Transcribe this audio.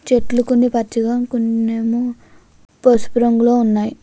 చెట్లు కొన్ని పచ్చగా కొన్నేమో పసుపు రంగులో ఉన్నాయి.